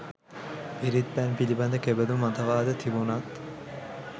පිරිත් පැන් පිළිබඳ කෙබඳු මතවාද තිබුණත්